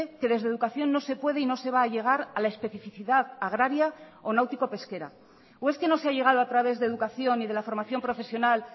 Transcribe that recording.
que desde educación no se puede y no se va a llegar a la especificidad agraria o náutico pesquera o es qué no se ha llegado a través de educación y de la formación profesional